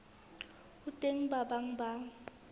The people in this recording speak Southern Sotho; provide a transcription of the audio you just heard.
ho teng ba bang ba